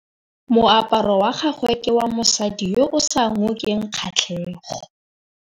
Moaparô wa gagwe ke wa mosadi yo o sa ngôkeng kgatlhegô.